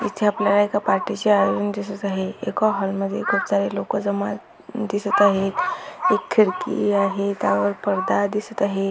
इथे आपल्याला एका पार्टी चे आयोजन दिसत आहे एका हॉल मध्ये खूप सारे लोक जमा दिसत आहेत एक खिडकी आहे त्यावर पडदा दिसत आहे.